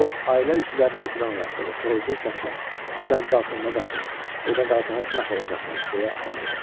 O ailə üzvlərini yuxudan oyatdı və xırıltılı səslə: "Cəld qalxın və qaçın! Burda qalsanız məhv olacaqsınız!" deyə əmr elədi.